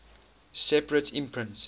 separate imprint